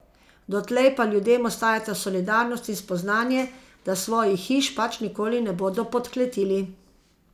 Dotlej pa ljudem ostajata solidarnost in spoznanje, da svojih hiš pač nikoli ne bodo podkletili.